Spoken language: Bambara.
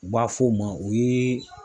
U b'a f'o ma o ye